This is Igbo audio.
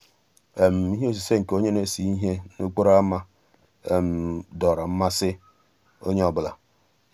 íhé òsìsé nkè ónyé ná-èsé íhé n'òkpòró ámá dòọ́rọ́ mmàsí ónyé ọ́ bụ́là.